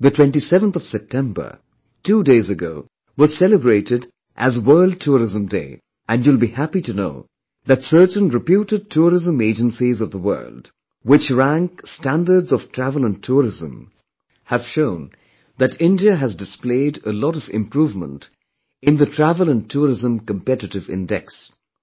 the 27th of September, two days prior to today, was celebrated as World Tourism Day and you will be happy to know that certain reputed tourism agencies of the world which rank standards of travel & tourism have shown that India has displayed a lot of improvement in the Travel & Tourism Competitive Index